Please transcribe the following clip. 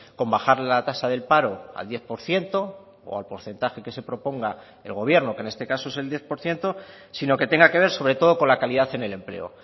con bajar la tasa del paro al diez por ciento o al porcentaje que se proponga el gobierno que en este caso es el diez por ciento sino que tenga que ver sobre todo con la calidad en el empleo